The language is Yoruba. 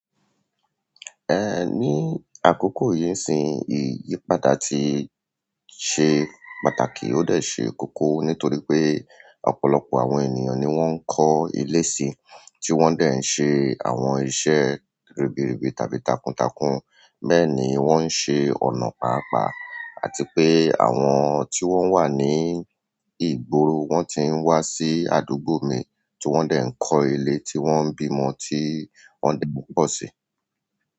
Ní àkókò yìí isin ìyípadà ti ṣe pàtàkì ó dé ṣe kókó nítorí pé ọ̀pọ̀lọpọ̀ àwọn ènìyàn ni wọ́n ń kọ́ ilé si, tí wọ́n sì ń ṣe àwọn iṣẹ́ ribiribi tàbí takuntakun. Bẹ́ẹ̀ni wọ́n ń ṣe ọ̀nà papa àti pé àwọn tí wọ́n wà ní ìgboro wọ́n ti ń wá sí àdúgbò mi, tiwọn dẹ̀ ń kọ́ ilé tí wọ́n ń bímọ, ti wọ́n ń di púpọ̀ sí.